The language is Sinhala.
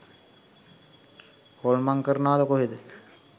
හොල්මන් කරනවද කොහෙද.